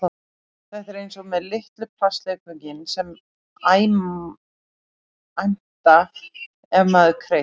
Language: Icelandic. Þetta er eins og með litlu plastleikföngin sem æmta ef maður kreist